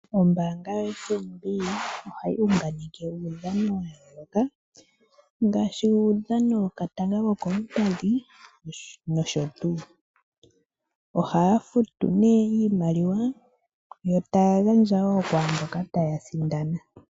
Ombaanga yoFNB ohayi unganeke uudhano wa yooloka ngaashi uudhano wokatanga kokoompadhi nosho tuu. Ohaya futu nee iimaliwa, yo taya gandja wo kwaamboka taya sindana.